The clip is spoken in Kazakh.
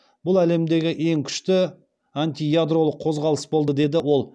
бұл әлемдегі ең күшті антиядролық қозғалыс болды деді ол